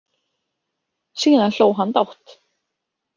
Síðan hló hann dátt.